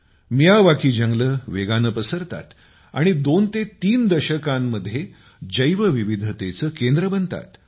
Miyawaki जंगले वेगाने पसरतात आणि दोन ते तीन दशकात जैवविविधतेचे केंद्र बनतात